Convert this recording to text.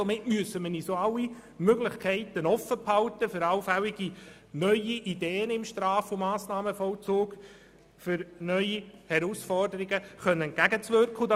Somit müssen wir uns auch alle Möglichkeiten offen halten für allfällige neue Ideen im Straf- und Massnahmenvollzug und um neuen Herausforderungen begegnen zu können.